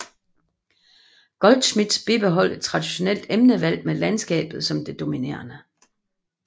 Goldschmidt bibeholdt et traditionelt emnevalg med landskabet som det dominerende